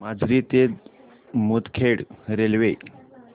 माजरी ते मुदखेड रेल्वे